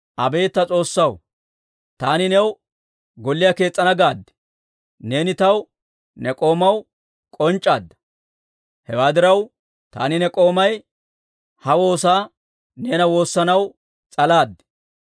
«Abeet ta S'oossaw, ‹Taani new golliyaa kees's'ana gaade› neeni taw ne k'oomaw k'onc'c'aadda. Hewaa diraw, taani ne k'oomay ha woosaa neena woossanaw s'alaad.